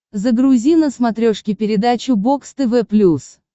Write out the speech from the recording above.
загрузи на смотрешке передачу бокс тв плюс